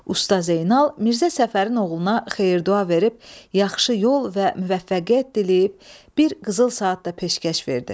Usta Zeynal Mirzə Səfərin oğluna xeyir-dua verib, yaxşı yol və müvəffəqiyyət diləyib, bir qızıl saat da peşkəş verdi.